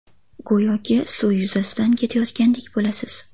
Go‘yoki suv yuzasidan ketayotgandek bo‘lasiz.